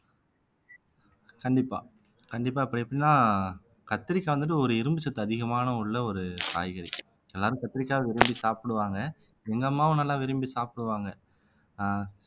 கண்டிப்பா கண்டிப்பா இப்ப எப்படின்னா கத்திரிக்காய் வந்துட்டு ஒரு இரும்புச் சத்து அதிகமான உள்ள ஒரு காய்கறி எல்லாரும் கத்திரிக்காய் விரும்பி சாப்பிடுவாங்க எங்க அம்மாவும் நல்லா விரும்பி சாப்பிடுவாங்க ஆஹ்